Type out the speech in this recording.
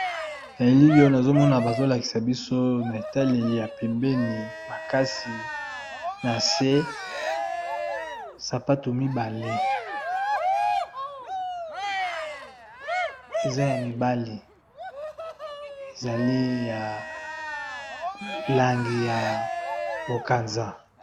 Na elili oyo nazo mona bazo lakisa biso na etaleli ya pembeni makasi, sapatu mibale, ezali ya mibali. Ezali na langi ya bokanza .